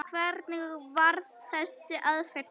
Hvernig varð þessi aðferð til?